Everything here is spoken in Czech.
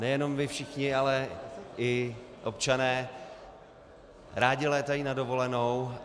Nejenom vy všichni, ale i občané rádi létají na dovolenou.